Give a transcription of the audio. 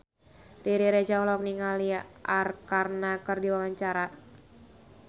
Riri Reza olohok ningali Arkarna keur diwawancara